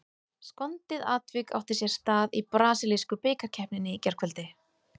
Skondið atvik átti sér stað í brasilísku bikarkeppninni í gærkvöldi.